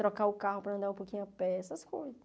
Trocar o carro para andar um pouquinho a pé, essas coisas.